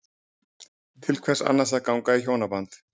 Til hvers annars að ganga í hjónaband?